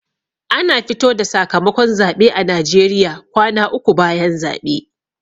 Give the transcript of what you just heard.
Ana fito da sakamakon zaɓe a najeriya kwana uku bayan zaɓe